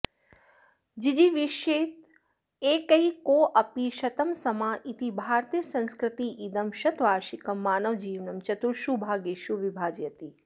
जिजीविषेदेकैकोऽपि शतं समा इति भारतीयसंस्कृतिरिदं शतवार्षिकं मानवजीवनं चतुर्षु भागेषु विभाजयति